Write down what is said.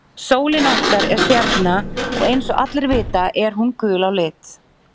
Sólin okkar er stjarna og eins og allir vita er hún gul á lit.